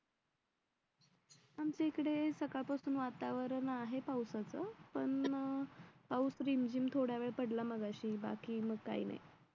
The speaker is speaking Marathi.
आमच्या इकडे सकाळपासून वातावरण आहे पावसाचा पण पाऊस रिमझिम थोड्यावेळ पडला मगाशी बाकी मग काय नाही